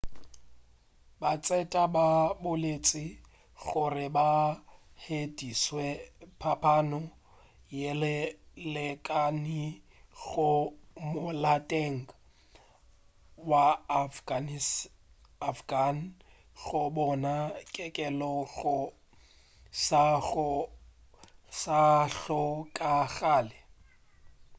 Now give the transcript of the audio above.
batseta ba boletše gore ba hweditše phapano yeo e lekanego molaotheong wa afghan go bona kelelo go sa hlokagale